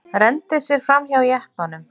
Renndi sér framhjá jeppanum.